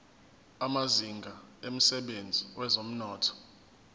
amazinga emsebenzini wezomnotho